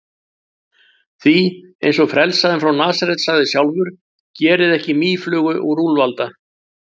Því, eins og frelsarinn frá Nasaret sagði sjálfur: Gerið ekki mýflugu úr úlfalda.